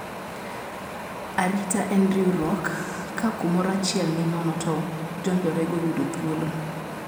Arita en riwruok. Ka kumoro achiel ni nono to jonjore go yudo thuolo.